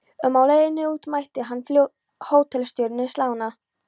um á leiðinni út mætti hann hótelstjóranum, slána